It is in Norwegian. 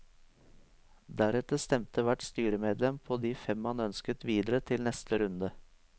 Deretter stemte hvert styremedlem på de fem man ønsket videre til neste runde.